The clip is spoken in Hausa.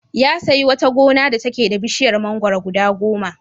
Ya sayi wata gona da take da bishiyar mangwaro guda goma.